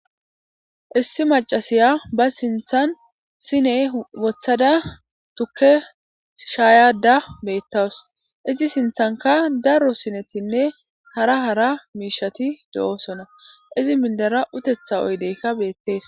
issi macasiya ba sinthan sine wothada tukke shaayada beettawus izi sinthanka daro sinetinne hara hara miishati do7osona izi mildera utetha oydeykka beettees